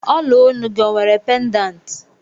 Ola Onu gị ọ nwere pedanti